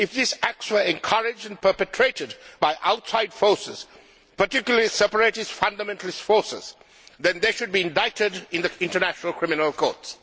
If these acts were encouraged and perpetrated by outside forces, particularly separatist fundamentalist forces, then they should be indicted in the International Criminal Court.